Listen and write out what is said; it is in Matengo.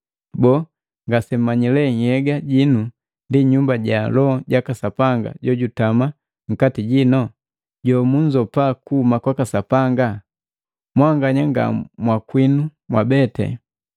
Boo, ngasemmanyi nhyega jinu ndi Nyumba ja Loho jaka Sapanga jojutama nkati jinu, jomunzopa kuhuma kwaka Sapanga? Mwanganya nga mwakwinu mwabete.